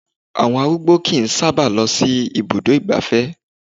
Àwọn arúgbó kìí sábà lọ sí ibùdó ìgbáfẹ́